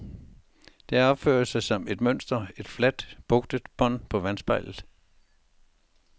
Det opfører sig som et mønster, et fladt, bugtet bånd på vandspejlet.